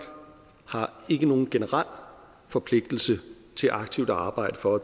har ikke nogen generel forpligtelse til aktivt at arbejde for